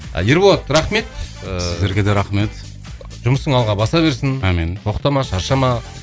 ерболат рахмет ыыы сіздерге де рахмет жұмысың алға баса берсін амин тоқтама шаршама